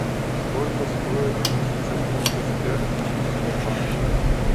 сколько стоит тысяча фунтов стерлингов в сбербанке